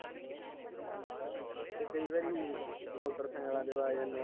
ਤੇ ਕਈ ਵਾਰੀ ਮੋਟਰ ਸਾਈਕਲਾ ਤੇ ਆ ਜਾਣੇ ਆ